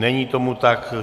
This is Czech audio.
Není tomu tak.